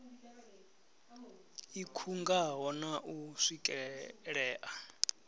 i khungaho na u swikelea